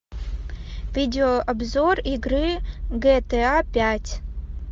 видео обзор игры гта пять